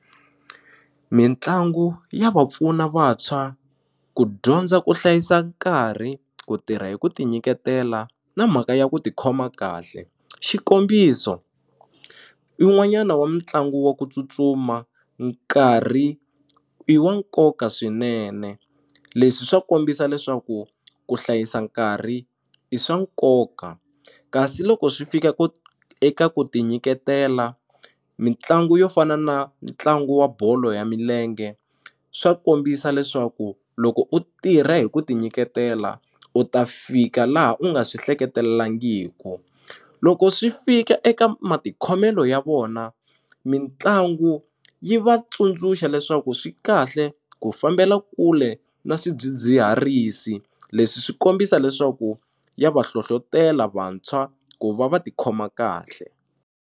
Mitlangu ya va pfuna vantshwa ku dyondza ku hlayisa nkarhi ku tirha hi ku ti nyiketela na mhaka ya ku tikhoma kahle xikombiso un'wanyana wa mitlangu wa ku tsutsuma nkarhi i wa nkoka swinene leswi swa kombisa leswaku ku hlayisa nkarhi i swa nkoka kasi loko swi fika ku eka ku ti nyiketela mitlangu yo fana na ntlangu wa bolo ya milenge swa kombisa leswaku loko u tirha hi ku ti nyiketela u ta fika laha u nga swi hleketelangiku loko swi fika eka matikhomelo ya vona mitlangu yi va tsundzuxa leswaku swikahle ku fambela kule na swidzidziharisi leswi swi kombisa leswaku ya va hlohlotela vantshwa ku va va tikhoma kahle.